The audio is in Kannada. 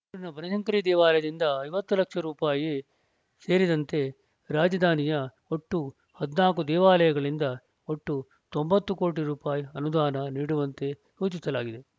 ಬೆಂಗಳೂರಿನ ಬನಶಂಕರಿ ದೇವಾಲಯದಿಂದ ಐವತ್ತು ಲಕ್ಷ ರೂಪಾಯಿ ಸೇರಿದಂತೆ ರಾಜಧಾನಿಯ ಒಟ್ಟು ಹದಿನಾಲ್ಕು ದೇವಾಲಯಗಳಿಂದ ಒಟ್ಟು ತೊಂಬತ್ತು ಕೋಟಿ ರೂಪಾಯಿ ಅನುದಾನ ನೀಡುವಂತೆ ಸೂಚಿಸಲಾಗಿದೆ